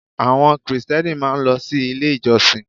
Àwọn Krìstẹ́nì máa ń lọ sí Ilé ìjọsìn